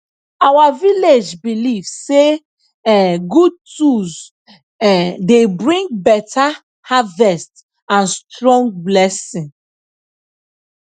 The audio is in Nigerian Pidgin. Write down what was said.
our village belief say um good tools um dey bring beta harvest and strong blessing